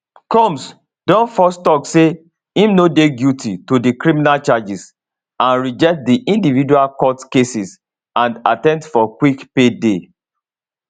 combs don first tok say im no dey guilty to di criminal charges and reject di individual court cases and attempt for quick payday